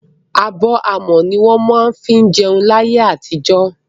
Abọ́ amọ̀ ní wọ́n má ń fí jẹun ní ayé àtijọ́.